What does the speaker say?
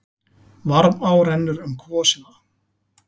Varmá rennur um kvosina.